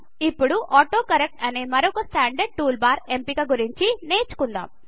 ఇప్పుడు ఆటోకరెక్ట్ అనే మరొక స్టాండర్డ్ టూల్ బార్ ఎంపిక గురించి నేర్చుకుందాం